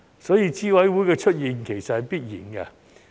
所以，資審會的出現是必然的。